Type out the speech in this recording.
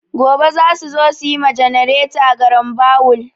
Gobe za su zo su yi ma ganareta garambawul.